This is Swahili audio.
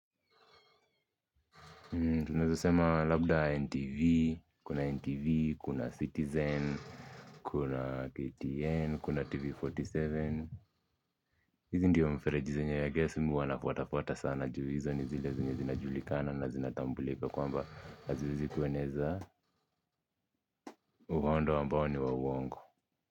Tunazo sema labda NTV, kuna NTV, kuna Citizen, kuna KTN, kuna TV47 hizi ndyo mfereji zenye i guess mimi huwa nafuata fuata sana. Juu hzi ni zile zinajulikana na zinatambulika kwamba haziwezi kueneza uhondo ambao ni wa uwongo.